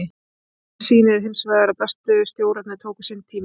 Sagan sýnir hinsvegar að bestu stjórarnir tóku sinn tíma.